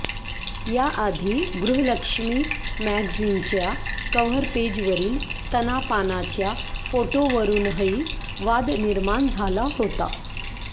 या आधी गृहलक्ष्मी मॅगझिनच्या कव्हर पेजवरील स्तनापानाच्या फोटोवरुनही वाद निर्माण झाला होता